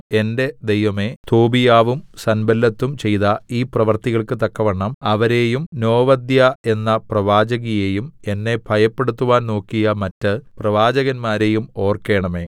എന്റെ ദൈവമേ തോബീയാവും സൻബല്ലത്തും ചെയ്ത ഈ പ്രവൃത്തികൾക്ക് തക്കവണ്ണം അവരേയും നോവദ്യാ എന്ന പ്രവാചകിയെയും എന്നെ ഭയപ്പെടുത്തുവാൻ നോക്കിയ മറ്റ് പ്രവാചകന്മാരെയും ഓർക്കേണമേ